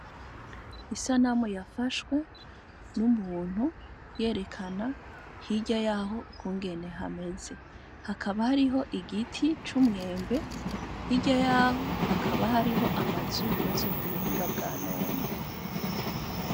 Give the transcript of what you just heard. Isanamu yafashwe n'umuntu yerekana hirya yaho ukungene hameze, hakaba hariho igiti c'umwembe, hirya yaho hakaba hariho amazu yubatswe ku buhinga bwanone.